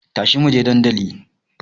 Tashi muje dandali